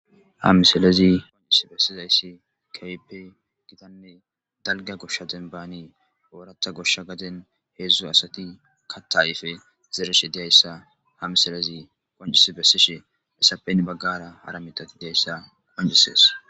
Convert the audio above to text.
hamiselezi qoncis bessizayssi keype gitanne dalga goshsha denbaani oorata goshsha gaden heedzdzu asati katta ayfe zereshe diyayssa hamisalezi qoncisi bessishe essapen baggara hara mitati deyayssa qoncisees